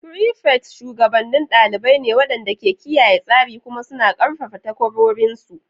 Prefects shugabannin ɗalibai ne waɗanda ke kiyaye tsari kuma suna ƙarfafa takwarorinsu.